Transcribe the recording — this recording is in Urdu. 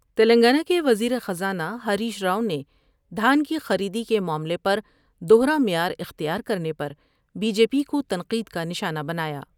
تلنگانہ کے وزیرخزانہ ہریش راؤ نے دھان کی خریدی کے معاملے پر دوہرا معیار اختیار کر نے پر بی جے پی کو تنقید کا نشانہ بنایا ۔